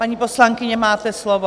Paní poslankyně, máte slovo.